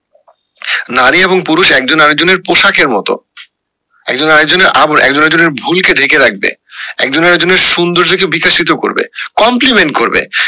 নারী এবং পুরুষ একজন আরেকজনের পোশাকের মতো একজন আরেকজনের আবরণ একজন আরেকজনের ভুল করে ঢেকে রাখবে একজন আরেকজনের সৌন্দর্য কে বিকশিত করবে compliment করবে